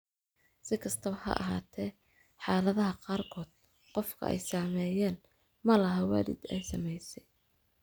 Si kastaba ha ahaatee, xaaladaha qaarkood, qofka ay saameeyeen ma laha waalid ay saamaysay.